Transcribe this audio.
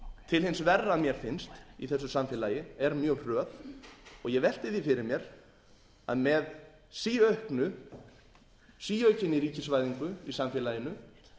til hins verra að mér finnst í þessu samfélagi er mjög hröð og ég velti því fyrir mér með síaukinni ríkisvæðingu í samfélaginu